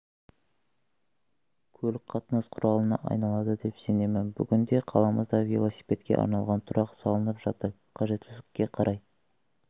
көлік қатынас құралына айналады деп сенемін бүгінде қаламызда велосипедке арналған тұрақ салынып жатыр қажеттілікке қарай